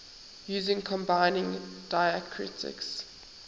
using combining diacritics